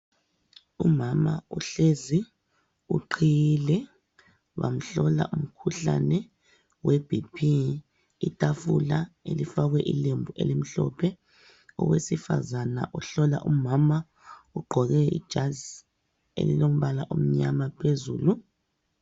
Umama uhlezi, uqhiyile. Bamhlola umkhuhlane weBP. Itafula elifakwe ilembu elimhlophe. Owesifazana uhlola umama, ugqoke ijazi elilombala omnyama phezulu.